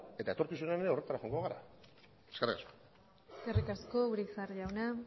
eta etorkizunean ere horretara joango gara eskerrik asko eskerrik asko urizar jauna